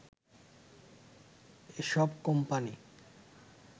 এ সব কোম্পানি